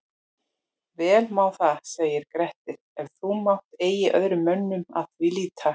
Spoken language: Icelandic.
Vel má það segir Grettir, ef þú mátt eigi öðrum mönnum að því hlíta